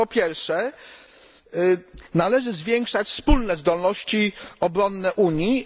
Po pierwsze, należy zwiększać wspólne zdolności obronne Unii.